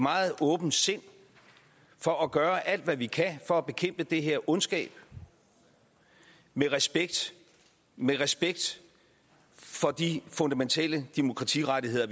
meget åbent sind for at gøre alt hvad vi kan for at bekæmpe den her ondskab med respekt med respekt for de fundamentale demokratirettigheder